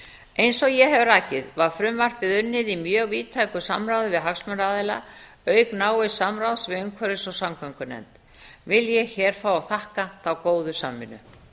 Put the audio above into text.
eins og ég hef rakið var frumvarpið unnið í mjög víðtæku samráði við hagsmunaaðila auk náins samráðs við umhverfis og samgöngunefnd vil ég hér fá að þakka þá góðu samvinnu